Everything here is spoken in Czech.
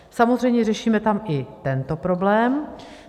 Samozřejmě řešíme tam i tento problém.